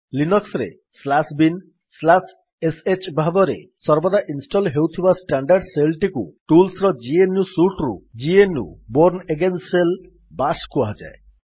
Linux ରେ binsh ଭାବରେ ସର୍ବଦା ଇନଷ୍ଟଲ୍ ହେଉଥିବା ଷ୍ଟାଣ୍ଡାର୍ଡ ଶେଲ୍ ଟିକୁ ଟୁଲ୍ସ୍ ର ଜିଏନୟୁ ସୁଟ୍ ରୁ GNU Bourne again shell bash କୁହାଯାଏ